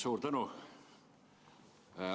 Suur tänu!